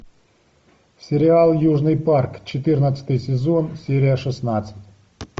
сериал южный парк четырнадцатый сезон серия шестнадцать